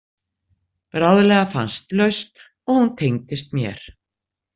Bráðlega fannst lausn og hún tengdist mér.